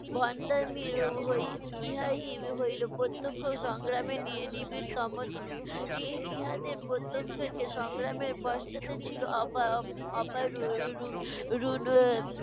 ভণ্ডামির হই~ ইহাই হইল প্রত্যক্ষ সংগ্রামের নিবিড়তম রূপ। ই~ ইহাতে প্রত্যক্ষ যে সংগ্রামের পশ্চাতে